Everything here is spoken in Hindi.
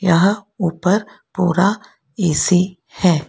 यहां ऊपर पूरा ऐ_सी है।